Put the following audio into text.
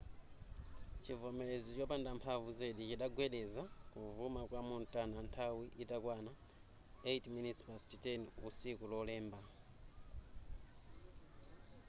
chivomerezi chopanda mphamvu zedi chidagwedeza kuvuma kwa montana nthawi itakwana 10:08 usiku lolemba